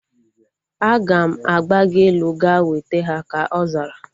Aga m agbago elu ga weta ha, ka ọ zara